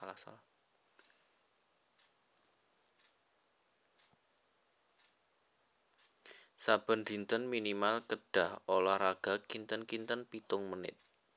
Saben dinten minimal kedah olahraga kinten kinten pitung menit